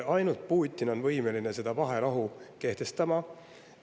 Ainult Putin on võimeline seda vaherahu kehtestama.